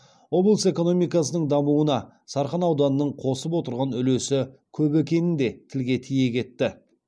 облыс экономикасының дамуына сарқан ауданының қосып отырған үлесі көп екенін де тілге тиек етті